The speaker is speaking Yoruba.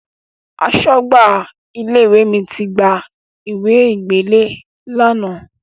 Aṣọ́gbà ilé-ìwé mi ti gba ìwe gbélé ẹ lánàá.